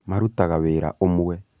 marutaga wĩra ũmwe